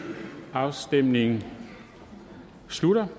afstemningen slutter